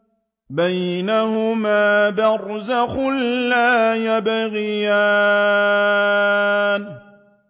بَيْنَهُمَا بَرْزَخٌ لَّا يَبْغِيَانِ